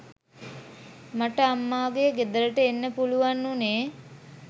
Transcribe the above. මට අම්මාගේ ගෙදරට එන්න පුළුවන් වුණේ.